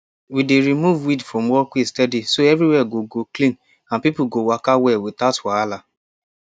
we dey remove weed from walkway steady so everywhere go go clean and people go waka well without wahala